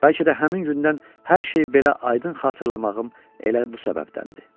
Bəlkə də həmin gündən hər şey belə aydın xatırlamağım elə bu səbəbdəndir.